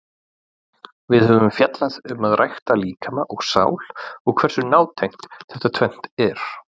Við höfum fjallað um að rækta líkama og sál og hversu nátengt þetta tvennt er.